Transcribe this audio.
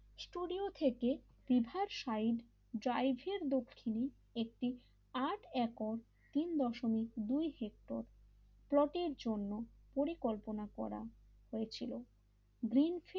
studio থেকে riverside driver দক্ষিণে একটি আট একর তিন দশমিক দুয় হেক্টর প্লটের জন্য পরিকল্পনা করা হয়েছিল গ্রিন ফেলো,